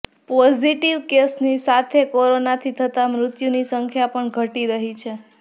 positive કેસની સાથે કોરોનાથી થતા મૃત્યુની સંખ્યા પણ ઘટી રહી છે